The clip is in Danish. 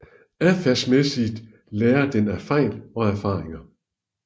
Adfærdsmæssigt lærer den af fejl og erfaringer